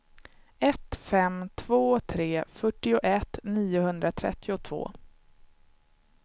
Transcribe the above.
ett fem två tre fyrtioett niohundratrettiotvå